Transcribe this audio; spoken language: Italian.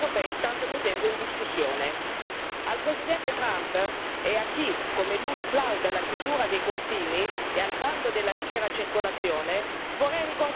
Al Presidente Trump e a chi come lui plaude alla chiusura dei confini e al bando della libera circolazione vorrei ricordare il principio della portabilità dei diritti.